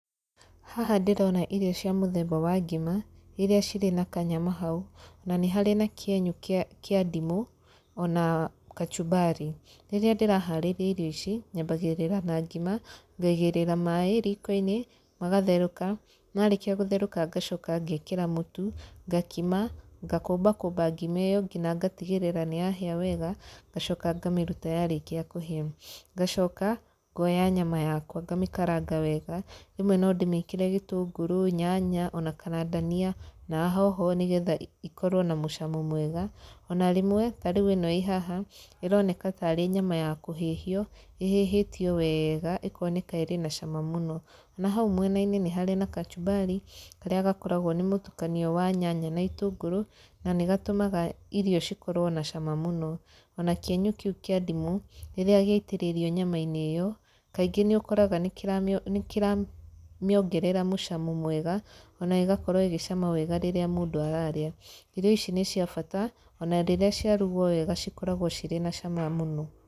Haha ndĩrona irio cia mũthemba wa ngima, irĩa cirĩ na kanyama hau, na nĩ harĩ na kĩenyũ kĩa kĩa ndimũ, ona kachumbari. Rĩrĩa ndĩraharĩria irio ici, nyambagĩrĩra na ngima, ngaigĩrĩra maĩ riko-inĩ, magatherũka, marĩkia gũtherũka ngacoka ngekĩra mũtu, ngakima, ngakũmba kũmba ngima ĩyo nginya ngatigĩrĩra nĩ yahĩa wega ngacoka ngamĩruta yarĩkia kũhĩa. Ngacoka ngoya nyama yakwa ngamĩkaranga wega, rĩmwe no ndĩmĩkĩre gĩtũngũrũ, nyanya ona kana ndania na hoho nĩ getha ikorwo na mũcamo mwega ona rĩmwe ta rĩu ĩno ĩĩ haha, ĩroneka ta arĩ nyama ya kũhĩhio, ĩhĩhĩtio wega ĩkoneka ĩrĩ na cama mũno. Na hau mwena-inĩ nĩ harĩ na kachumari karĩa gakoragwo nĩ mũtukanio wa nyanya na itũngũrũ, na nĩ gatũmaga irio cikorwo na cama mũno. Ona kĩenyo kĩu kĩa ndimũ rĩrĩa gĩatĩrĩrio nyama-inĩ ĩyo, kaingĩ nĩ ũkoraga nĩ kĩramĩongerera mũcamo mwega, ona ĩgakorwo ĩgĩcama wega rĩrĩa mũndũ ararĩa. Irio ici nĩ cia bata ona rĩrĩa ciarugwo wega cikoragwo cirĩ na cama mũno.